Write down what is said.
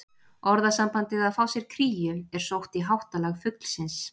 Orðasambandið að fá sér kríu er sótt í háttalag fuglsins.